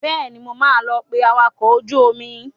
Bẹ́ẹ̀ni, mo máa lọ pé awakọ̀ ojú omi.